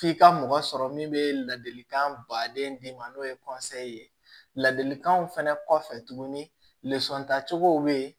F'i ka mɔgɔ sɔrɔ min bɛ ladilikan baden d'i ma n'o ye ye ladilikanw fɛnɛ kɔfɛ tuguni tacogo bɛ ye